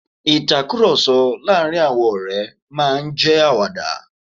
Ìtakùròsọ láàárín àwọn ọ̀ré máa n jẹ́ àwàdà